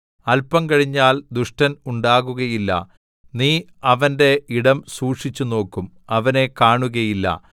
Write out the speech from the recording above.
അല്പം കഴിഞ്ഞാൽ ദുഷ്ടൻ ഉണ്ടാകുകയില്ല നീ അവന്റെ ഇടം സൂക്ഷിച്ചുനോക്കും അവനെ കാണുകയില്ല